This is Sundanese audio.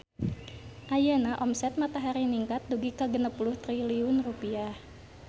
Ayeuna omset Matahari ningkat dugi ka 60 triliun rupiah